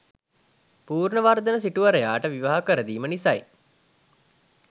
පූර්ණවර්ධන සිටුවරයාට විවාහ කරදීම නිසයි